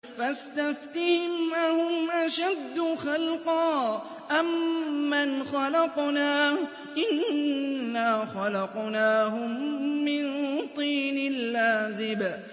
فَاسْتَفْتِهِمْ أَهُمْ أَشَدُّ خَلْقًا أَم مَّنْ خَلَقْنَا ۚ إِنَّا خَلَقْنَاهُم مِّن طِينٍ لَّازِبٍ